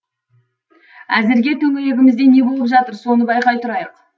әзірге төңірегімізде не болып жатыр соны байқай тұрайық